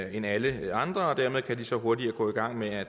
end alle andre og dermed kan medarbejderne så hurtigere gå i gang med at